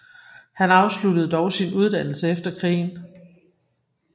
Han afsluttede dog sin uddannelse efter krigen